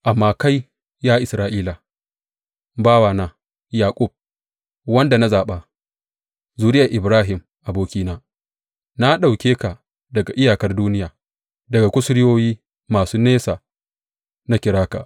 Amma kai, ya Isra’ila, bawana, Yaƙub, wanda na zaɓa, zuriyar Ibrahim abokina, na ɗauke ka daga iyakar duniya, daga kusurwoyi masu nesa na kira ka.